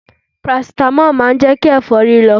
Parasitamọ́ọ̀ má ń jẹ́kí ẹ̀fọ́rí lọ.